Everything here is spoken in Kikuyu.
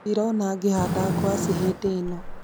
Ndĩrona ngĩhanda ngwaci hĩndĩ ĩno